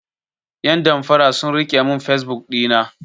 Yan damfara sun rike mun fesbuk ɗina.